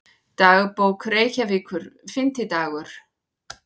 Dagbók Reykjavíkur, Fimmtidagur